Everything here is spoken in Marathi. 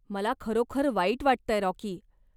मला खरोखर वाईट वाटतंय, राॅकी.